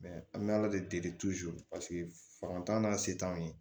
an bɛ ala de deli paseke an n'a se t'anw ye